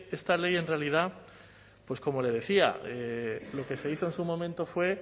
esta ley en realidad pues como le decía lo que se hizo en su momento fue